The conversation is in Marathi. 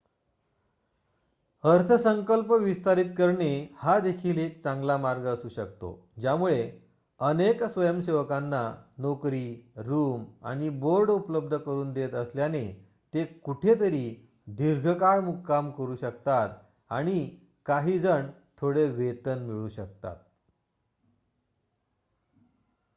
अर्थसंकल्प विस्तारित करणे हा देखील एक चांगला मार्ग असू शकतो ज्यामुळे अनेक स्वयंसेवकांना नोकरी रूम आणि बोर्ड उपलब्ध करून देत असल्याने ते कुठेतरी दीर्घ काळ मुक्काम करू शकतात आणि काही जण थोडे वेतन मिळवू शकतात